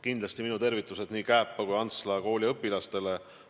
Kindlasti minu tervitused nii Kääpa kui Antsla kooli õpilastele.